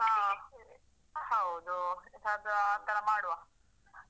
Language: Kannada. ಹಾ ಹೌದು ಅದು ಆತರ ಮಾಡುವ ಹೌದು.